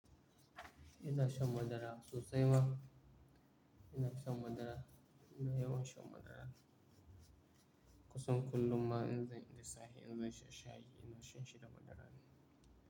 Ina shan madara sosai ma. Ina shan madara, ina yawan shan madara. Kusan kullum ma in zan da sahe, in zan sha shayi, ina shan shi da madara ne.